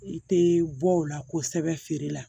I tɛ bɔ o la kosɛbɛ feere la